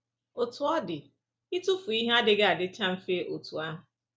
Otú ọ dị, ịtụfu ihe adịghị adịcha mfe otú ahụ.